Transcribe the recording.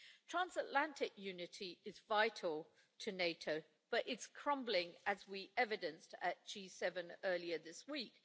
Transatlantic unity is vital to NATO, but it's crumbling, as we evidenced at G7 earlier this week.